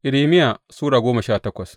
Irmiya Sura goma sha takwas